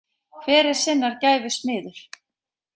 Hver er sinnar gæfu smiður